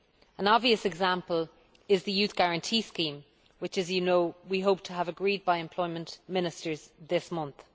An obvious example is the Youth Guarantee Scheme which, as you know, we hope to have agreed by Employment Ministers this month.